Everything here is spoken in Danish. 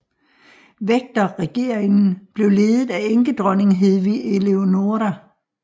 Vægterregeringen blev ledet af enkedronning Hedvig Elonora